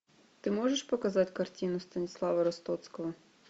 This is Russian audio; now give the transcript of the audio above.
ты можешь показать картину станислава ростоцкого